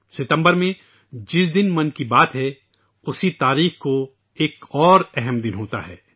ستمبر میں جس دن 'من کی بات' ہے اسی تاریخ کو ایک اور اہم دن ہوتا ہے